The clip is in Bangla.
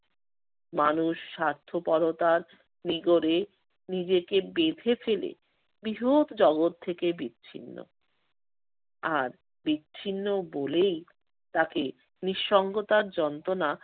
মানুষ স্বার্থপরতার নিগড়ে নিজেকে বেঁধে ফেলে বৃহৎ জগৎ থেকে বিচ্ছিন্ন। আর বিচ্ছিন্ন বলেই তাকে নিঃসঙ্গতার যন্ত্রণা